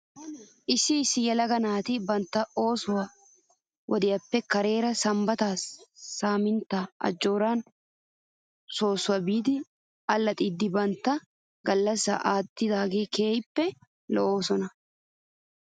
Issi issi yelaga naati bantta ooso wodiyaappe kareera sambbatan sambbatan ajooraa soossuwaa biidi allaxxiidi bantta gallasaa aattiyaageeti keehippe lo'oosona .